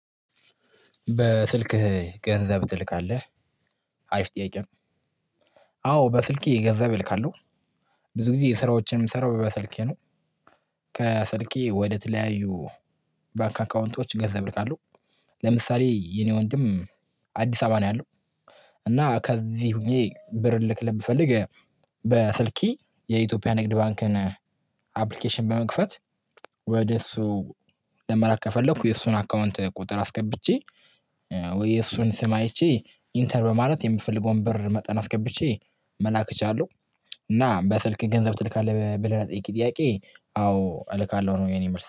በስልክህ ገንዘብ ትልካለህ? አሪፍ ጥያቄ ነው። አዎ በስልኬ ገንዘብ እልካለሁ። ብዙ ጊዜ ስራዎችን ምሰራው በስልኬ ነው። ከስልኬ ወደ ተለያዩ ባንክ አካውንቶች ገንዘብ እልካለሁ። ለምሳሌ የኔ ወንድም አዲስ አበባ ነው ያለው እና ከዚህ ሆኜ ብር ልልክለት ብፈልግ በስልኬ የኢትዮጵያ ንግድ ባንክን አፕልኬሽን በመክፈት ወደሱ ለመላክ ከፈለኩ የሱን አካውንት ቁጥር አስገብቼ ወይ የእሱን ስም አይቼ ኢንተር በማለት የምፈልገውን ብር መጠን አስገብቼ መላክ እችላለሁ። እና በስልክህ ገንዘብ ትልካለህ? ብለህ ለጠየከኝ ጥያቄ አዎ እልካለሁ ነው የኔ መልስ።